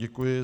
Děkuji.